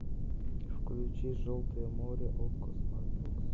включи желтое море окко смарт бокс